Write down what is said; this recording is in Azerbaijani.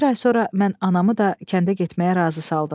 Bir ay sonra mən anamı da kəndə getməyə razı saldım.